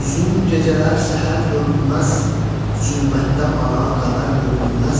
Uzun gecələr səhər görünməz, zülmətdə mənə qəmər görünməz.